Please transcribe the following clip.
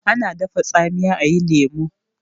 ana dafa tsamiya a yi lemo